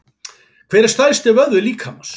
Hver er stærsti vöðvi líkamans?